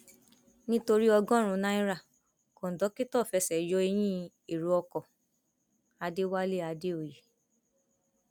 nítorí ọgọrùnún náírà kóńdókító fẹsẹ yọ eyín èrò ọkọ adéwálé àdèoyè